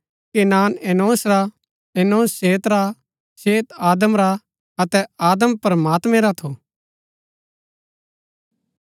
Kenan Enosh रा Enosh Seth रा Seth Adam रा अतै आदम प्रमात्मैं रा थू